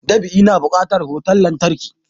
Dab'i na bukatar wutan lantarki